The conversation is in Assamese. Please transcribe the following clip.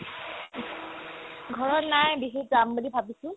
ঘৰত নাই বিহুত যাম বুলি ভাবিছো ।